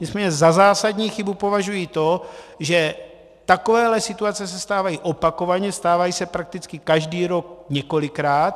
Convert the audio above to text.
Nicméně za zásadní chybu považuji to, že takovéhle situace se stávají opakovaně, stávají se prakticky každý rok několikrát.